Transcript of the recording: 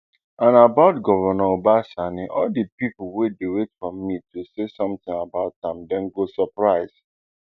and about govnor uba sani all di pipo wey dey wait for me to say sometin about am dem go surprise